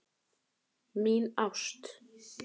Mín ást